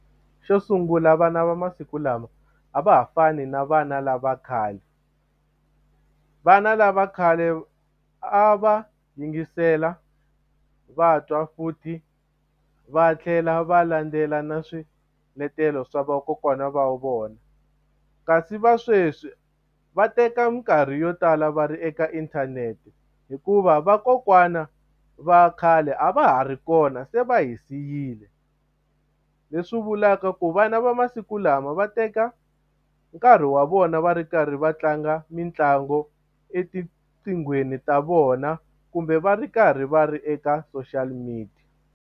Xo sungula vana va masiku lama a va ha fani na vana lava khale vana lava khale a va yingisela va twa futhi va tlhela va landzela na swiletelo swa vakokwana va vona kasi va sweswi va teka minkarhi yo tala va ri eka inthanete hikuva vakokwana va khale a va ha ri kona se va hi siyile leswi vulaka ku vana va masiku lama va teka nkarhi wa vona va ri karhi va tlanga mitlangu etiqinghweni ta vona kumbe va ri karhi va ri eka social media.